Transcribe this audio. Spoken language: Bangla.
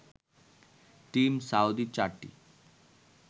টিম সাউদি চারটি